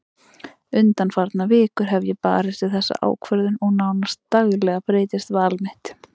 Undanfarnar vikur hef ég barist við þessa ákvörðun og nánast daglega breytist val mitt.